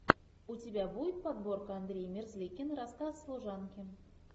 у тебя будет подборка андрей мерзликин рассказ служанки